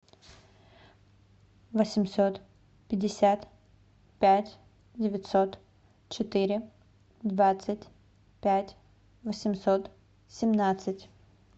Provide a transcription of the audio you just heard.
восемьсот пятьдесят пять девятьсот четыре двадцать пять восемьсот семнадцать